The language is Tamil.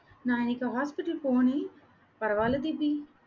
நான் இன்னைக்கு hospital போனேன், பரவாயில்லை தீபி